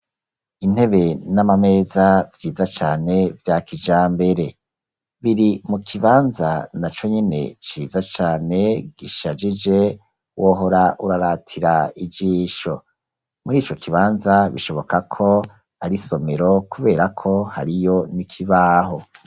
Intebe n'amameza vyiza cane vya kijambere biri mu kibanza naco nyene ciza cane gishagije wohora uraratira ijisho mu rico kibanza bishoboka ko ari somero kuberako hariyo n'ikibaho.